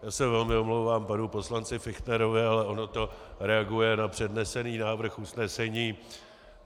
Já se velmi omlouvám panu poslanci Fichtnerovi, ale ono to reaguje na přednesený návrh usnesení.